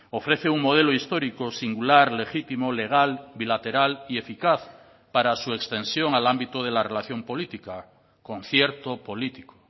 ofrece un modelo histórico singular legítimo legal bilateral y eficaz para su extensión al ámbito de la relación política concierto político